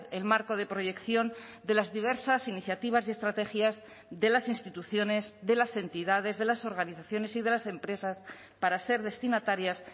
el marco de proyección de las diversas iniciativas y estrategias de las instituciones de las entidades de las organizaciones y de las empresas para ser destinatarias